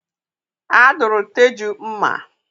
A duru Teju mma.